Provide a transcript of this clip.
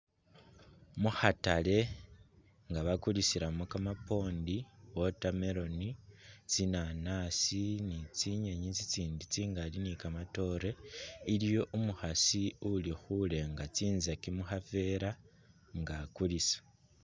Mukhaatale nga bakulisilamo kamapondi , watermelon, tsi nanaasi ni tsinyenyi tsitsindi tsingali ni kamaatore , iliwo umukhaasi uli khulenga tsitsaki mukhavela nga akulisa.